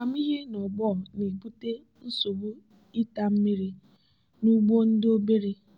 amamihe nọgbọ na-ebute nsogbu ịta mmiri nugbo ndị obere.